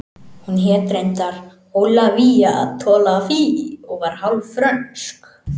Hún hét reyndar Ólafía Tolafie og var hálf frönsk